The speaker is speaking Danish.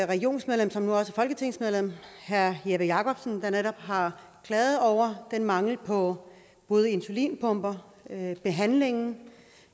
regionsmedlem som nu også er folketingsmedlem herre jeppe jakobsen der netop har klaget over den mangel på insulinpumper og behandling